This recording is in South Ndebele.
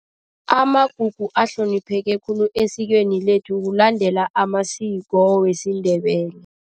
Amagugu ahlonipheke khulu esikweni lethu kulandela amasiko wesiNdebele.